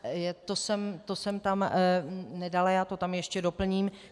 To jsem tam nedala, já to tam ještě doplním.